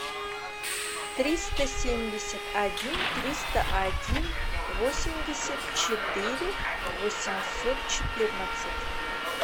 триста семьдесят один триста один восемьдесят четыре восемьсот четырнадцать